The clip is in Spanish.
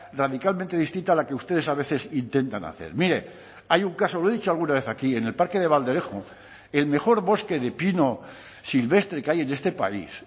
radicalmente distinta a la que ustedes a veces intentan hacer mire hay un caso lo he dicho alguna vez aquí en el parque de valderejo el mejor bosque de pino silvestre que hay en este país